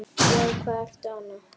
Já, hvað ertu annað?